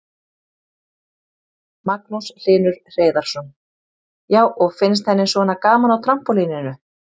Magnús Hlynur Hreiðarsson: Já, og finnst henni svona gaman á trampólíninu?